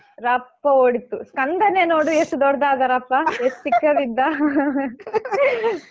ರಪ್ಪ ಓಡಿತು ಸ್ಕಂದನೇ ನೋಡು ಎಷ್ಟು ದೊಡ್‌ದಾದ ರಪ್ಪ ಎಷ್ಟ್ ಚಿಕ್ಕದಿದ್ದ